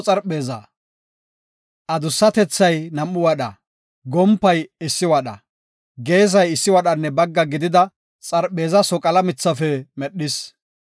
Adussatethay nam7u wadha, gompay issi wadha, geesay issi wadhanne bagga gidida xarpheezaa soqala mithafe medhis.